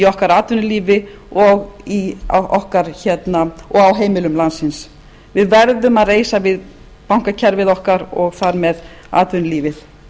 okkar atvinnulífi og á heimilum landsins við verðum að reisa við bankakerfið okkar og þar með atvinnulífið